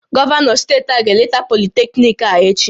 Gọvanọ steeti a ga-eleta politekniiki a echi